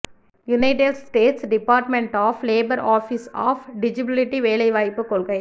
United States Department of Labor Office of Disability வேலைவாய்ப்பு கொள்கை